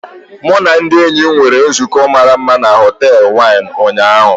Mụ na ndị enyi m nwere nzukọ mara mma na họtel Wine ụnyaahụ.